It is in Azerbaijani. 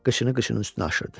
Qıçını qıçının üstünə aşırırdı.